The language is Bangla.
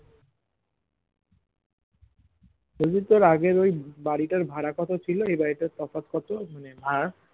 বলছি আগের ওই বাড়িটার ভাড়া কত ছিল এবারিটার তফাৎ কত আর